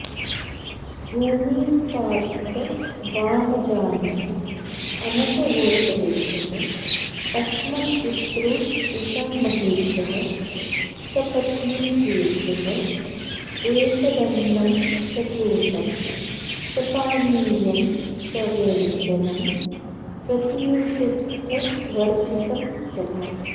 भूमिपातितवामजानुः अमुकगोत्रेभ्यः अस्मत्पितृपितामहेभ्यः सपत्नीकेभ्यः एतदन्नं सघृतं सपानीयं सव्यञ्जनं प्रतिषिद्धवर्जितं स्वधा